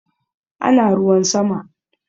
Ana ruwan sama